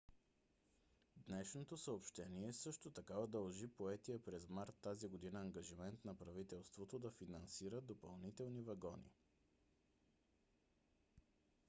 днешното съобщение също така удължи поетия през март тази година ангажимент на правителството да финансира допълнителни вагони